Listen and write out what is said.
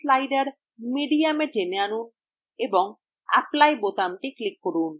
quality slider mediumএ টেনে আনুন এবং apply click করুন